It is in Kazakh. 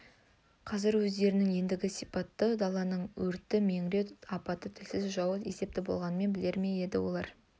қазір өздерінің ендігі сипаты даланың өрті меңіреу апаты тілсіз жауы есепті болғанын білер ме еді олар